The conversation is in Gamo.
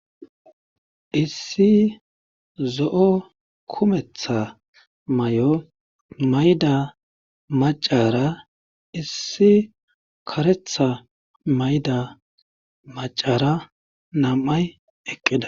issi zo7o kumetha may7o mayda macara issi karetha mayda macara nam7ay eqqida